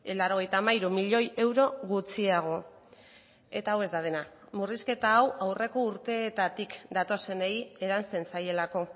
laurogeita hamairu milioi euro gutxiago eta hau ez da dena murrizketa hau aurreko urteetatik datozenei eransten zaielako